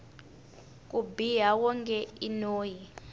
ku biha wonge i noyi